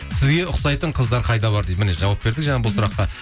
сізге ұқсайтын қыздар қайда бар дейді міне жауап бердік жаңа бұл сұраққа